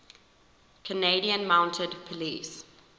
canadian mounted police